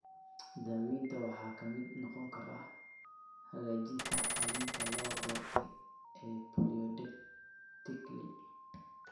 Daawaynta waxaa ka mid noqon kara hagaajinta qalliinka la doortay ee polydactyly.